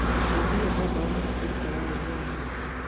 Gũacũhia mbaũ nĩ gũkũrutaga ũũgĩ wa moko.